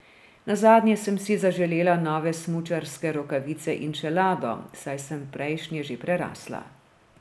Nazadnje sem si zaželela nove smučarske rokavice in čelado, saj sem prejšnje že prerasla.